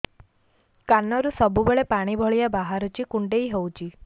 କାନରୁ ସବୁବେଳେ ପାଣି ଭଳିଆ ବାହାରୁଚି କୁଣ୍ଡେଇ ହଉଚି